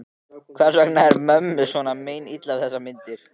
Hvers vegna er mömmu svona meinilla við þessar myndir?